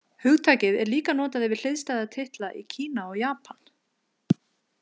Hugtakið er líka notað yfir hliðstæða titla í Kína og Japan.